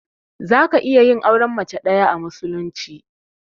Zaka iya yin auren mace ɗaya a musulunci.